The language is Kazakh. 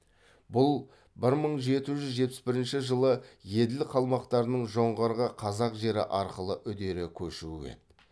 бұл бір мың жеті жүз жетпіс бірінші жылы еділ қалмақтарының жоңғарға қазақ жері арқылы үдере көшуі еді